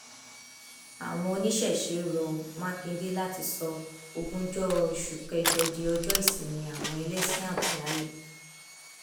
àwọn oníṣẹṣe rọ mákindé láti sọ ogúnjọ oṣù kẹjọ di ọjọ ìsinmi àwọn ẹlẹsìn àbáláyé